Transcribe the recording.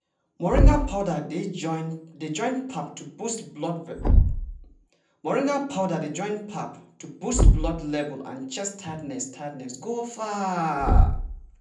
moringa powder dey join pap to boost blood level and chase tiredness tiredness go far.